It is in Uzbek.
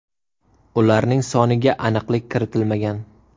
Ularning soniga aniqlik kiritilmagan.